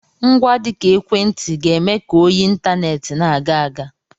Ngwa dị ka ekwentị ga-eme ka oyi intaneti na-aga aga.